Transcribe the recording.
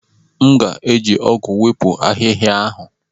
M ga-eji ọgụ wepụ ahịhịa ahụ.